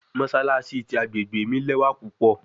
Mossalassi ti agbegbe mi lẹwa pupọ